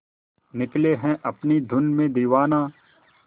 निकले है अपनी धुन में दीवाना